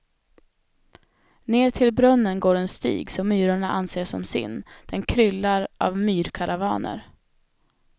Ner till brunnen går en stig som myrorna anser som sin, den kryllar av myrkaravaner.